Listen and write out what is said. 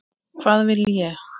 Hvað vil ég?